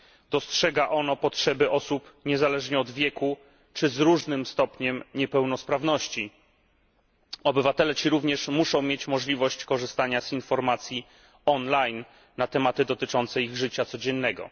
Dostrzega ono potrzeby osób niezależnie od wieku czy z różnym stopniem niepełnosprawności. Obywatele ci również muszą mieć możliwość korzystania z informacji online na tematy dotyczące ich życia codziennego.